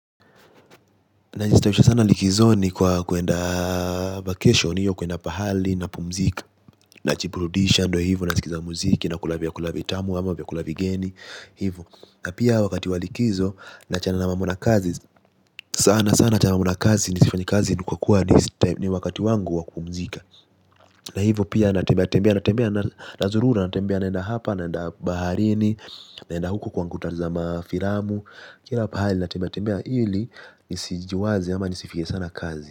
Najistawisha sana likizoni kwa kuenda vacation iyo kuenda pahali napumzika. Najiburudisha ndo hivo nasikiza muziki nakula vyakula vitamu ama vyakula vigeni hivo. Na pia wakati wa likizo naachana na mambo na kazi. Sana sana naachana mambo na kazi nisifanye kazi nikakuwa ni wakati wangu wa kupumzika. Na hivo pia natembea natembea nazurura natembea naenda hapa naenda baharini. Naenda huku kwangu tazama filamu. Kila pahali natembea tembea ili nisijiwaze ama nisifige sana kazi.